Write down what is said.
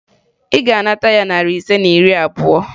Ị ga-anata ya narị ise na iri abụọ!